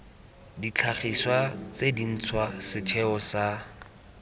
ditlhagiswa tse dintšhwa setheo sa